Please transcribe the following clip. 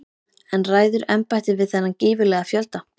En ræður embættið við þennan gífurlega fjölda?